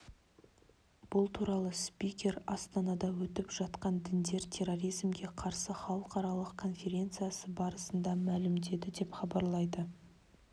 бұл туралы спикер астанада өтіп жатқан діндер терроризмге қарсы халықаралық конференциясы барысында мәлімдеді деп хабарлайды